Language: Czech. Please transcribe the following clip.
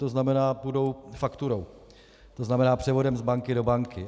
To znamená, půjdou fakturou, to znamená převodem z banky do banky.